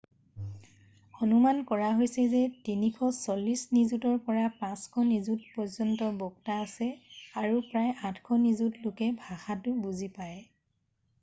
অনুমান কৰা হৈছে যে 340 নিযুতৰ পৰা 500 নিযুতপৰ্যন্ত বক্তা আছে আৰু প্ৰায় 800 নিযুত লোকে ভাষাটো বুজি পায়